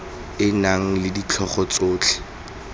e nang le ditlhogo tsotlhe